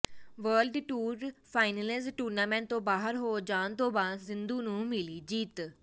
world Tour Finals tournament ਤੋਂ ਬਾਹਰ ਹੋ ਜਾਣ ਤੋਂ ਬਾਅਦ ਸਿੰਧੂ ਨੂੰ ਮਿਲੀ ਜਿੱਤ